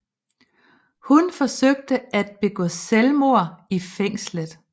Hun forsøgte at begå selvmord i fængslet